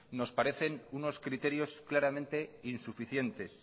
nos parecen unos criterios claramente insuficientes